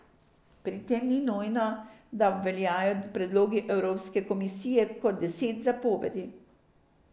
Pri tem ni nujno, da obveljajo predlogi evropske komisije kot deset zapovedi.